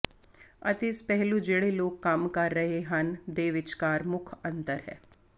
ਅਤੇ ਇਸ ਪਹਿਲੂ ਜਿਹੜੇ ਲੋਕ ਕੰਮ ਕਰ ਰਹੇ ਹਨ ਦੇ ਵਿਚਕਾਰ ਮੁੱਖ ਅੰਤਰ ਹੈ